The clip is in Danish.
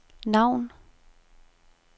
navn